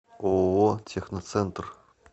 ооо техноцентр